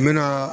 N bɛ na